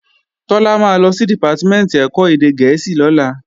Tọ́lá máa lọ sí Dìpátímẹ̀ntì ẹ̀kọ́ èdè gẹ̀ẹ́sì lọ́la